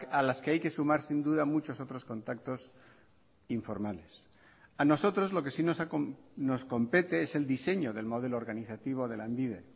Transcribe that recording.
a las que hay que sumar sin duda muchos otros contactos informales a nosotros lo que sí nos compete es el diseño del modelo organizativo de lanbide